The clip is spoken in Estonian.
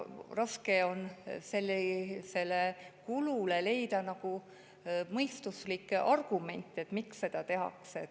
Raske on leida mõistuslikke argumente, miks seda teha.